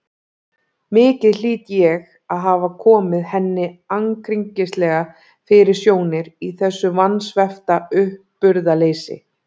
Mikið hlýt ég að hafa komið henni ankringislega fyrir sjónir í þessu vansvefta uppburðaleysi.